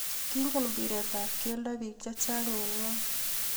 Kingen mpiret ab kelto biik che chang eng ng'ony.